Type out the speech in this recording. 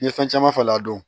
N ye fɛn caman falen a don